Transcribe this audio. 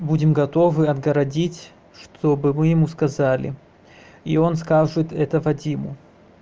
будем готовы отгородить чтобы мы ему сказали и он скажет это вадиму